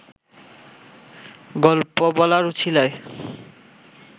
গল্প বলার উছিলায়